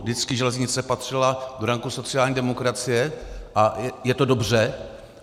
Vždycky železnice patřila do ranku sociální demokracie, a je to dobře.